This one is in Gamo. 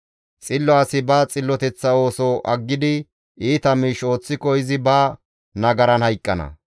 Xillo asi ba xilloteththa ooso aggidi iita miish ooththiko izi ba nagaran hayqqana.